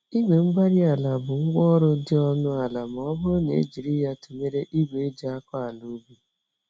igwe-mgbárí-ala bụ ngwa ọrụ dị ọnụ ala m'ọbụrụ ma ejiri ya tụnyere ìgwè eji-akọ-àlà-ubi